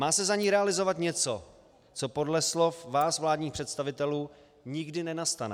Má se za ně realizovat něco, co podle slov vás, vládních představitelů, nikdy nenastane.